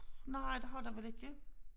Nej det har der vel ikke